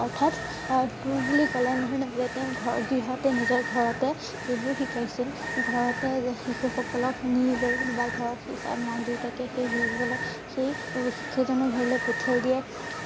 অৰ্থাৎ অ টোল বুলি কলে এনে ধৰণে বুজাই তেওঁ ঘৰ গৃহঁতে নিজৰ ঘৰতে এইবোৰ শিকাইছিল ঘৰতে এ শিশু সকলক নি লৈ কোনোবা ঘৰৰ সিচাব মাক দেউতাকে সেই সকলক সেই শিক্ষক জনৰ ঘৰলে পঠিয়াই দিয়ে।